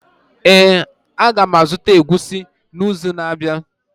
Ee, a ga m azụta egusi n'izu na-abịa.